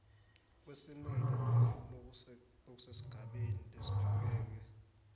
kwesimilo lokusesigabeni lesiphakeme